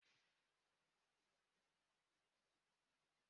Ọkụ jupụtara n'ụlọ Ekene